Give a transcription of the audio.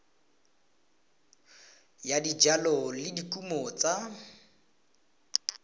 ya dijalo le dikumo tsa